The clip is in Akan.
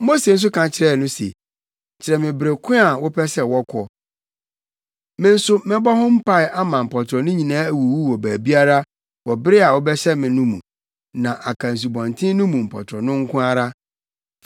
Mose nso ka kyerɛɛ no se, “Kyerɛ me bere ko a wopɛ sɛ wɔkɔ. Me nso mɛbɔ ho mpae ama mpɔtorɔ no nyinaa awuwu wɔ baabiara wɔ bere a wobɛhyɛ me no mu, na aka asubɔnten no mu mpɔtorɔ no nko ara.”